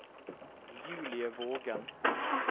Julie Vågen